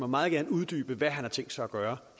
meget gerne uddybe hvad han har tænkt sig at gøre